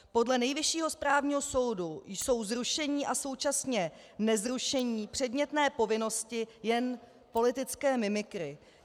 Podle Nejvyššího správního soudu jsou zrušení a současně nezrušení předmětné povinnosti jen politické mimikry.